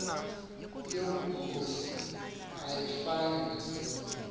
yobukhosi ayifani nezinye